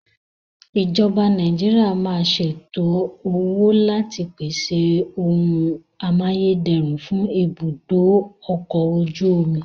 Ìjọba Nàìjíríà máa ṣètò owó láti pèsè ohun amáyédẹrùn fún ibùdó ọkọ̀ ojú omi.